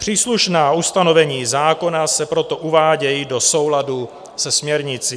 Příslušná ustanovení zákona se proto uvádějí do souladu se směrnicí.